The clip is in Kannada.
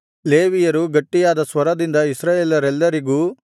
ಲೇವಿಯರು ಗಟ್ಟಿಯಾದ ಸ್ವರದಿಂದ ಇಸ್ರಾಯೇಲರೆಲ್ಲರಿಗೂ